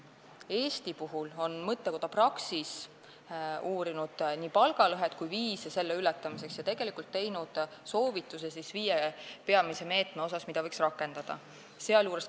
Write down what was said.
Eestis on mõttekoda Praxis uurinud nii palgalõhet kui ka viise selle ületamiseks ja teinud soovituse viie peamise meetme kohta, mida võiks rakendada.